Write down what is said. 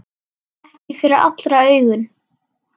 Ekki fyrir allra augum.